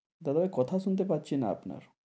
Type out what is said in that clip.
দাদা ভাই কথা শুনতে পাচ্ছিনা আপনার।